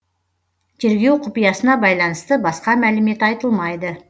тергеу құпиясына байланысты басқа мәлімет айтылмайды